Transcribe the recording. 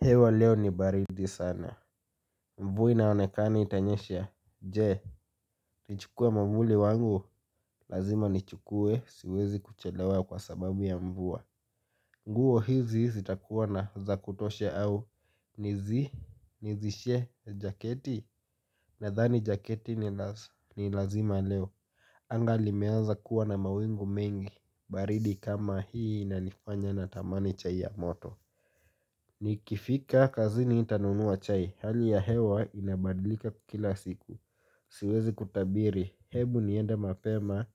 Hewa leo ni baridi sana. Mvua inaonekana itanyesha. Je, nchukue mwavuli wangu. Lazima nchukue, siwezi kuchelewa kwa sababu ya mvua. Nguo hizi sitakuwa na za kutoshe au nizi, nizishe jaketi. Nadhani jaketi ni lazima leo. Anga limeanza kuwa na mawingu mengi. Baridi kama hii inanifanya natamani chai ya moto. Nikifika kazini nitanunua chai. Hali ya hewa inabadilika kila siku. Siwezi kutabiri. Hebu niende mapema.